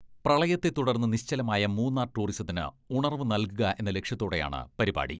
പ്രളയത്തെ തുടർന്ന് നിശ്ചലമായ മൂന്നാർ ടൂറിസത്തിന് ഉണർവു നൽകുക എന്ന ലക്ഷ്യത്തോടെയാണ് പരിപാടി.